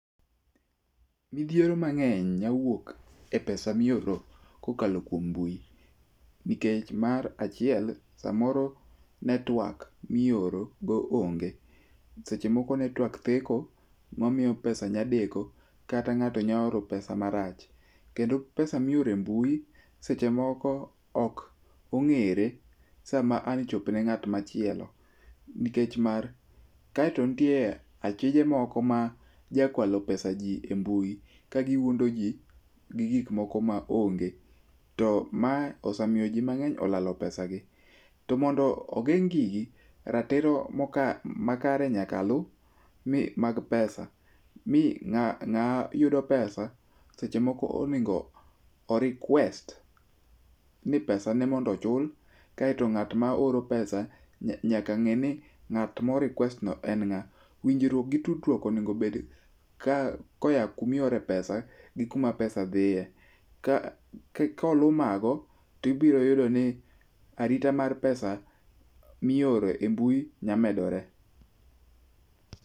Midhiero mang'eny nyawuok e pesa mioro kokalo kuom mbui. Nikech mar achiel samoro netwak mioro go onge, seche moko netwak theko mamiyo pesa nyadeko kata ng'ato nyaoro pesa marach. Kendo pesa miorembui seche moko ok ong'ere sama an chopne ng'at machielo nikech mar. Kaeto nitie achije moko ma jakwalo pesaji e mbui, kagiwuondoji gi gik moko maonge. To ma osemiyo ji mang'eny olalo pesa gi. Top mondo ogeng' gigi, ratiro makare nyaka lu, mi mag pesa. Mi ng'a, ng'a yudo pesa seche moko onego o request, ni pesa ne mondo ochul. Kaeto ng'atma oro pesa nyaka ng'e ni ng'at mo request no en ng'a. Winjruok gi tudruok onegobed koya kumiore pesa gi kuma pesa dhiye. Ka, kolu mago tibiroyudo ni arita mar pesa mioro e mbui nyamedore.